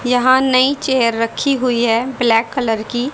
यहां नई चेयर रखी हुई है ब्लैक कलर की।